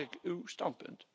Mag ik uw standpunt?